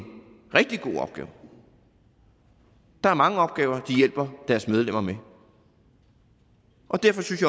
rigtig god opgave der er mange opgaver de hjælper deres medlemmer med derfor synes